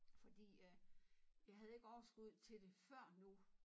Fordi øh jeg havde ikke overskud til det før nu